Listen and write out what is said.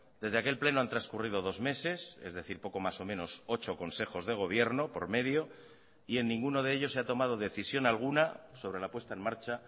desde aquel pleno han transcurrido dos meses es decir poco más o menos ocho consejos de gobierno por medio y en ninguno de ellos se ha tomado decisión alguna sobre la puesta en marcha